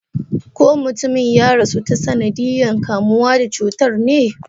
Ko mutumin ya rasu ta sanadiyan kamuwa da cutar ne?